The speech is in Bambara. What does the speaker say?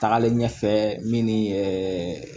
Tagalen ɲɛfɛ min ni ɛɛ